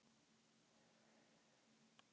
Hann er leigubílstjóri.